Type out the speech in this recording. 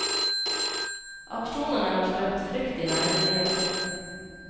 Aksjonene har skapt frykt i nærmiljøet.